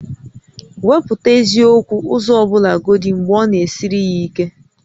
Wepụta eziokwu ụzọ ọbụlagodi mgbe ọ na-esiri ya ike